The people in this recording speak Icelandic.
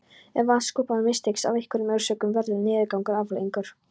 Ef vatnsupptakan mistekst af einhverjum orsökum verður niðurgangur afleiðingin.